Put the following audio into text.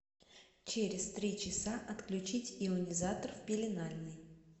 через три часа отключить ионизатор в пеленальной